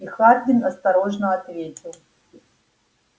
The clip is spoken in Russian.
и хардин осторожно ответил